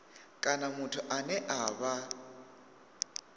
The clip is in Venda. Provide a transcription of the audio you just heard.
kana muthu ane a vha